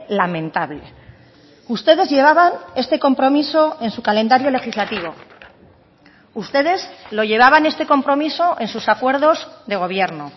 lamentable ustedes llevaban este compromiso en su calendario legislativo ustedes lo llevaban este compromiso en sus acuerdos de gobierno